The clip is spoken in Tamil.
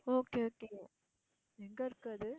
okay okay எங்க இருக்கு அது